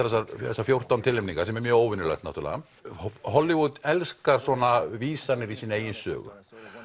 þessar fjórtán tilnefningar sem er mjög óvenjulegt Hollywood elskar svona vísanir í eigin sögu